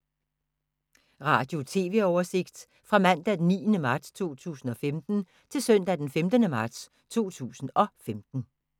Radio/TV oversigt fra mandag d. 9. marts 2015 til søndag d. 15. marts 2015